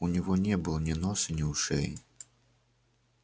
у него не было ни носа ни ушей